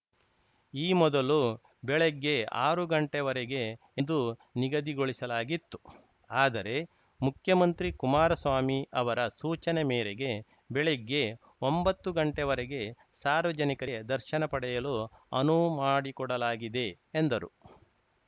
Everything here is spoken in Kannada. ಈ ಮೊದಲು ಬೆಳಗ್ಗೆ ಆರು ಗಂಟೆವರೆಗೆ ದು ನಿಗದಿಗೊಳಿಸಲಾಗಿತ್ತು ಆದರೆ ಮುಖ್ಯಮಂತ್ರಿ ಕುಮಾರಸ್ವಾಮಿ ಅವರ ಸೂಚನೆ ಮೇರೆಗೆ ಬೆಳಗ್ಗೆ ಒಂಬತ್ತು ಗಂಟೆವರೆಗೆ ಸಾರ್ವಜನಿಕರಿಗೆ ದರ್ಶನ ಪಡೆಯಲು ಅನುವು ಮಾಡಿಕೊಡಲಾಗಿದೆ ಎಂದರು